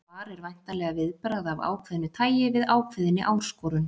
Svar er væntanlega viðbragð af ákveðnu tæi við ákveðinni áskorun.